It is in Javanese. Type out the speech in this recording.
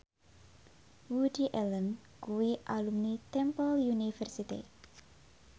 Woody Allen kuwi alumni Temple University